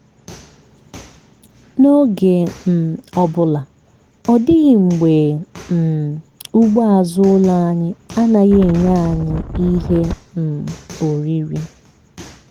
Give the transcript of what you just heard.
n'oge um ọbụla ọ dịghị mgbe um ugbo azụ ụlọ anyị anaghị enye anyị ihe um oriri.